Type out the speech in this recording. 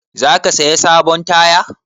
Za ka saya sabon taya?